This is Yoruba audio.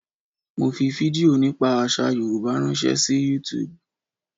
Mo fi fídíò nípa àsà Yorùbá ránṣẹ́ sí YouTube.